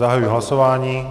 Zahajuji hlasování.